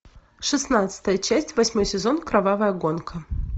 шестнадцатая часть восьмой сезон кровавая гонка